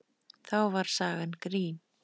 Þá var sagan grín.